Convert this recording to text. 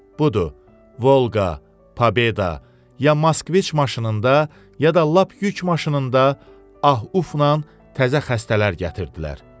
Budur, Volqa, Pobeda, ya Moskvic maşınında, ya da lap yük maşınında ah-ufla təzə xəstələr gətirdilər.